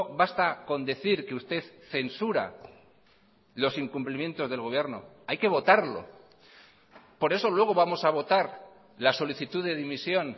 basta con decir que usted censura los incumplimientos del gobierno hay que votarlo por eso luego vamos a votar la solicitud de dimisión